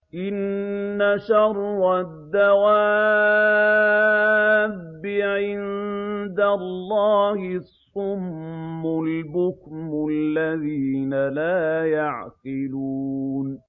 ۞ إِنَّ شَرَّ الدَّوَابِّ عِندَ اللَّهِ الصُّمُّ الْبُكْمُ الَّذِينَ لَا يَعْقِلُونَ